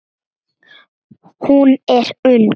Hún er ung.